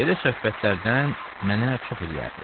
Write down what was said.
Belə söhbətlərdən mənə çox eləyərdi.